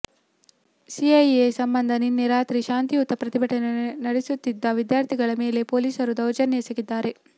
CIA ಸಂಬಂಧ ನಿನ್ನೆ ರಾತ್ರಿ ಶಾಂತಿಯುತ ಪ್ರತಿಭಟನೆ ನಡೆಸುತ್ತಿದ್ದ ವಿದ್ಯಾರ್ಥಿಗಳ ಮೇಲೆ ಪೋಲೀಸರು ದೌರ್ಜನ್ಯ ಎಸಗಿದ್ದಾರೆ